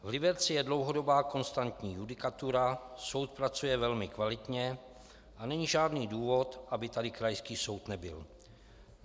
V Liberci je dlouhodobá konstantní judikatura, soud pracuje velmi kvalitně a není žádný důvod, aby tady krajský soud nebyl.